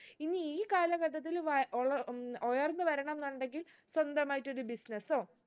ഇന്ന് ഈ കാലഘട്ടത്തിൽ വാ ഉൾ ഉം ഉയർന്ന് വരണംന്നുണ്ടെങ്കിൽ സ്വന്തമായിട്ട് ഒരു business ഓ